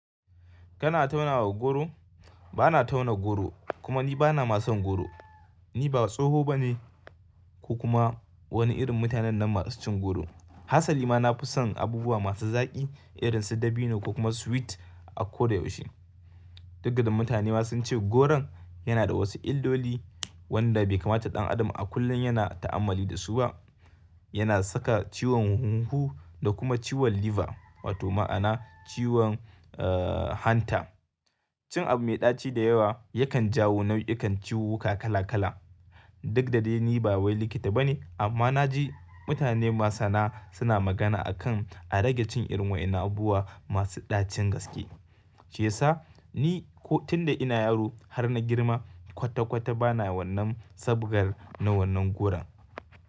Kana tauna wa goro? Bana tauna goro kuma ni bana ma son goro. Ni ba tsoho bane ko kuma wani irin mutanen nan masu cin goro. Hassali ma na fi son abubuwa masu zaƙi irin su dabino ko kuma sweet a ko da yaushe. Duk da mutane ma sun ce goron yana da wasu illoli wanda bai kamata ɗan adam a kullum yana ta'ammali da su ba. Yana saka ciwon hunhu da kuma ciwon liver wato ma'ana ciwon hanta. Cin abu mai ɗaci da yawa yakan jawo nau'ikan ciwuwuka kala kala. Duk da dai ni ba wai likita bane amma na ji mutane masana suna magana akan a rage cin irin waɗannan abubuwa masu ɗacin gaske. Shiyasa ni ko tun da ina yaro har na girma kwata kwata bana wannan sabgar na wannan goron.